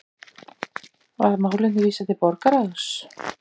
Var málinu vísað til borgarráðs